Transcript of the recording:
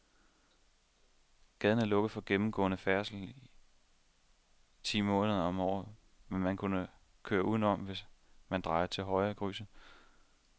Gaden er lukket for gennemgående færdsel ti måneder om året, men man kan køre udenom, hvis man drejer til højre i krydset.